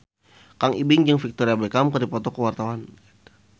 Kang Ibing jeung Victoria Beckham keur dipoto ku wartawan